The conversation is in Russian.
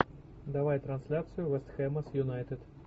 давай трансляцию вест хэма с юнайтед